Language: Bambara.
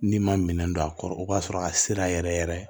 N'i ma minɛn don a kɔrɔ o b'a sɔrɔ a sera yɛrɛ yɛrɛ